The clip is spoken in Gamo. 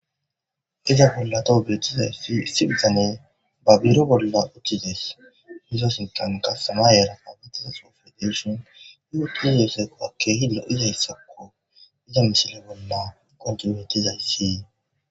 iza bolla toho birtiza sipizane ba biro bolla uchchides mizosintan ka sama yera pabetiza sofe deshion yuhu ti yooseko akke hida izayssakko iza mishile bolla kontinuetizayssee